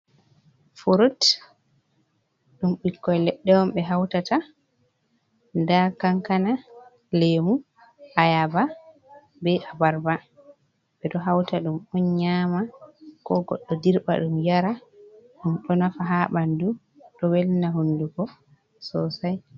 Furut ɗum bikkoy leɗɗe on ɓe hawtata, ndaa kankana, leemu, ayaaba bee abarba ɓe ɗo hawta ɗum on nyaama koo goɗɗo dirɓa ɗum yara, ɗum ɗo nafa haa ɓanndu, ɗo welna hunnduko soosai.